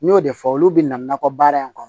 N y'o de fɔ olu bina nakɔ baara in kɔnɔ